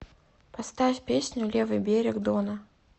поставь песню левый берег дона